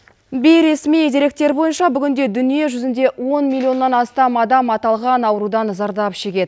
бейресми деректер бойынша бүгінде дүние жүзінде он миллионнан астам адам аталған аурудан зардап шегеді